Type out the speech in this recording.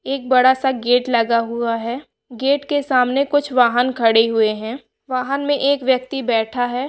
एक बड़ा सा गेट लगा हुआ है गेट के सामने कुछ वाहन खड़े हुए हैं वाहन में एक व्यक्ति बैठा है।